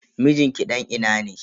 Mijin ki dan ina ne?